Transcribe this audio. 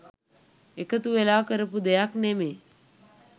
එකතු වෙලා කරපු දෙයක් නෙමේ.